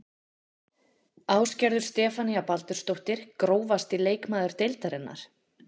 Ásgerður Stefanía Baldursdóttir Grófasti leikmaður deildarinnar?